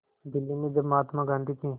दिल्ली में जब महात्मा गांधी की